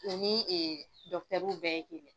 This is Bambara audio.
O ni bɛɛ ye kelen ye.